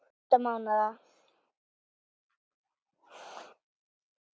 Átta mánaða